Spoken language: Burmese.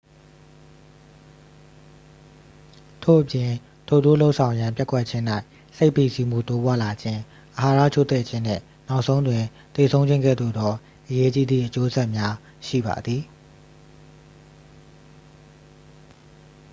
ထို့အပြင် ထိုသို့လုပ်ဆောင်ရန်ပျက်ကွက်ခြင်း၌ စိတ်ဖိစီးမှု တိုးပွားလာခြင်း အာဟာရချို့တဲ့ခြင်းနှင့် နောက်ဆုံးတွင် သေဆုံးခြင်း ကဲ့သို့သော အရေးကြီးသည့် အကျိုးဆက်များရှိပါသည်